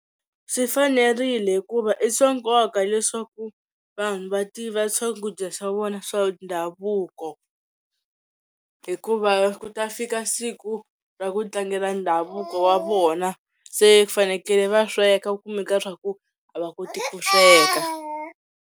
Swi fanerile hikuva i swa nkoka leswaku vanhu va tiva swakudya swa vona swa ndhavuko hikuva ku ta fika siku ra ku tlangela ndhavuko wa vona se ku fanekele va sweka kumeka swa ku a va koti ku sweka.